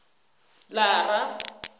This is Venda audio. lara